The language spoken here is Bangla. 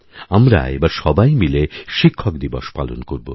আমরা এবার সবাই মিলে শিক্ষক দিবস পালন করবো